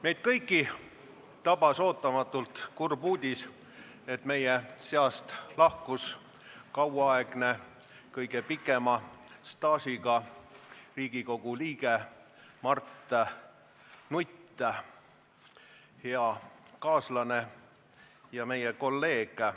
Meid kõiki tabas ootamatult kurb uudis, et meie seast lahkus kauaaegne, kõige pikema staažiga Riigikogu liige Mart Nutt, hea kaaslane ja meie kolleeg.